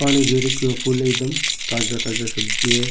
पानी दे रखो है फूल एकदम ताज़ा ताजा सब्जी है।